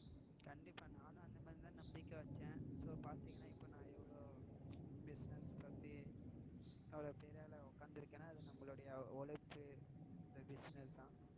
கண்டிப்பா நானும் அந்த மாதிரி தான் நம்பிக்கை வச்சேன். so பாத்தீங்கனா இப்போ நான் எவளோ business பத்தி இவளோ பெரிய ஆளா உக்காந்து இருக்கேன்னா அது நம்மளோட உழைப்பு இந்த business தான்.